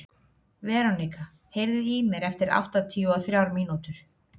Veronika, heyrðu í mér eftir áttatíu og þrjár mínútur.